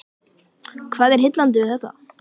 Hvað er heillandi við þetta?